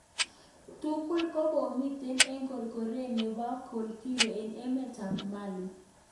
Tugul kokomiten en korkoret nepo Koulikoro en emet ap Mali